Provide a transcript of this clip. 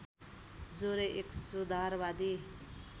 जोरे एक सुधारवादी